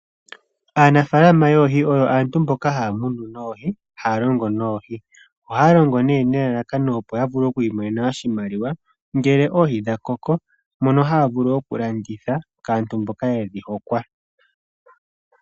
Aanafalama yoohi oyo aantu mboka haya munu noohi, haya longo noohi oha ya longo nee nelalakano opo ya vule okwiimonena oshimaliwa ngele oohi dha koko, mono haya vulu okulanditha kaantu mboka yedhi hokwa.